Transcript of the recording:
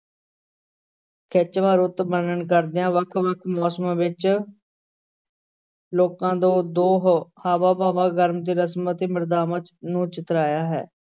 ਖਿੱਚਵਾਂ ਰੁੱਤ ਵਰਣਨ ਕਰਦਿਆਂ ਵੱਖ ਵੱਖ ਮੌਸਮਾਂ ਵਿਚ ਲੋਕਾਂ ਦੇ ਦੋ ਹ~ ਹਾਵਾਂ-ਭਾਵਾਂ, ਗਰਮ ਤੇ ਰਸਮ ਅਤੇ ਮਰਯਾਦਾਵਾਂ ਨੂੰ ਚਿਤਰਾਇਆ ਹੈ।